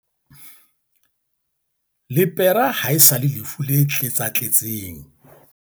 lepera ha e sa le lefu le tletsatletseng